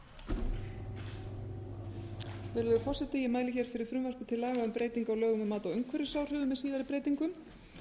hæstvirtur forseti ég mæli fyrir frumvarpi til laga um breytingu á lögum um mat á umhverfisáhrifum með síðari breytingum